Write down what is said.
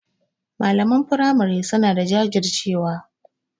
Malaman firamari suna da jajircewa.